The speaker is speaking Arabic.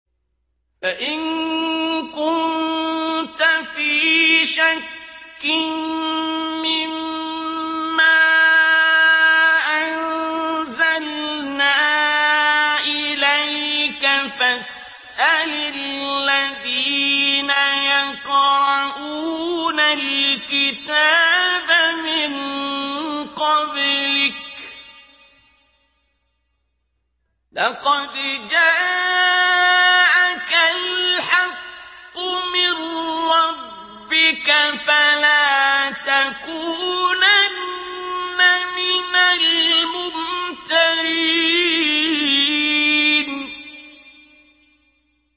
فَإِن كُنتَ فِي شَكٍّ مِّمَّا أَنزَلْنَا إِلَيْكَ فَاسْأَلِ الَّذِينَ يَقْرَءُونَ الْكِتَابَ مِن قَبْلِكَ ۚ لَقَدْ جَاءَكَ الْحَقُّ مِن رَّبِّكَ فَلَا تَكُونَنَّ مِنَ الْمُمْتَرِينَ